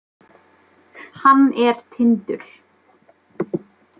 Hann er Tindur.